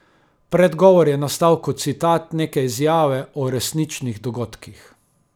Predgovor je nastal kot citat neke izjave o resničnih dogodkih.